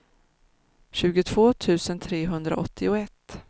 tjugotvå tusen trehundraåttioett